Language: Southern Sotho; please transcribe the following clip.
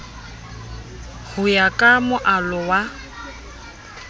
ho ya ka moalo wa